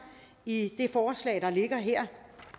i det forslag der ligger her